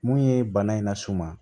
Mun ye bana in las'u ma